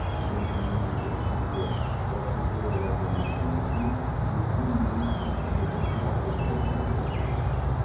енді мемлекет ішіндегі процедуралардан өткеннен кейін өзге министрліктердің мақұлдауын алуымыз керек